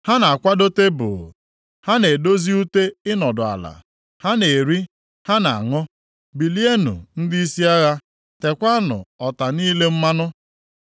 Ha na-akwado tebul. Ha na-edozi ute ịnọdụ ala, ha na-eri, ha na-aṅụ. Bilienụ ndịisi agha, teekwanụ ọta niile mmanụ!